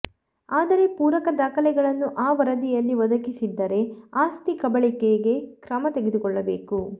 ಆದರೆ ಪೂರಕ ದಾಖಲೆಗಳನ್ನು ಆ ವರದಿಯಲ್ಲಿ ಒದಗಿಸಿದ್ದರೆ ಆಸ್ತಿ ಕಬಳಿಕೆಗೆ ಕ್ರಮ ತೆಗೆದುಕೊಳ್ಳಭೇಕು